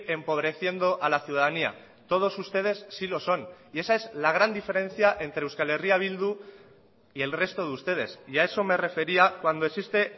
empobreciendo a la ciudadanía todos ustedes sí lo son y esa es la gran diferencia entre euskal herria bildu y el resto de ustedes y a eso me refería cuando existe